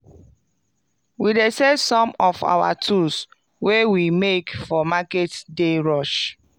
we dey sell some of our tools wey we make for market day rush